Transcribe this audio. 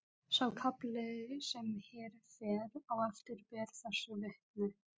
Sá kafli sem hér fer á eftir ber þessu vitni: